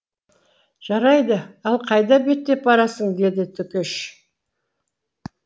жарайды ал қайда беттеп барасың деді төкеш